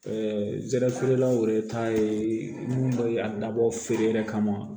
zɛrɛfeerelaw yɛrɛ ta ye mun ye a dabɔ feere yɛrɛ kama